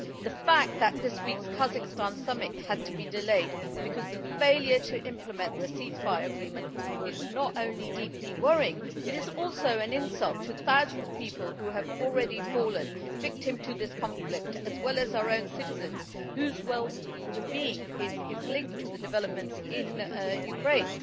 The fact that this week's Kazakhstan summit had to be delayed because of failure to implement the ceasefire agreement is not only deeply worrying, it is also an insult to the thousands of people who have already fallen victim to this conflict, as well as to our own citizens, whose well being is linked to the developments in Ukraine.